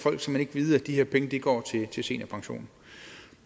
vide at de her penge går til seniorpension